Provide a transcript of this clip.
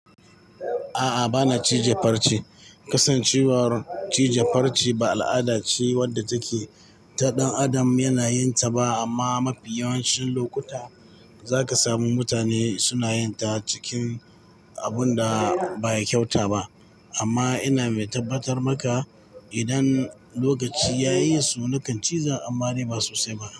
A'a, bana cije farce. Kasancewar cije farce ba al'ada ce wadda take ta ɗan adam yana yin ta ba amma mafi yawancin lokuta za ka samu mutane suna yin ta cikin abun da baya kyauta ba. Amma ina mai tabbatar maka idan lokaci ya yi su nakan ciza ammare basu sai ba.